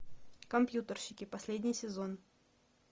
компьютерщики последний сезон